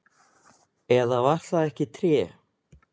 Eða var það ekki tré?